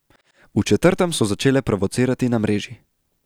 V četrtem so začele provocirati na mreži.